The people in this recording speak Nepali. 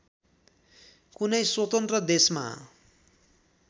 कुनै स्वतन्त्र देशमा